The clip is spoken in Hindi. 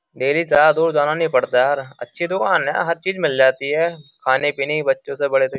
डेली चार दूर जाना नहीं पड़ता यार अच्छी दुकान है हर चीज मिल जाती है खाने पीने की बच्चों से बड़े तो --